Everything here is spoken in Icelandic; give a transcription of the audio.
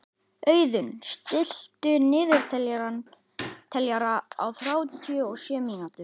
Auðunn, stilltu niðurteljara á þrjátíu og sjö mínútur.